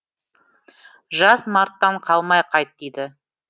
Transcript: жаз марттан қалмай қайт дейді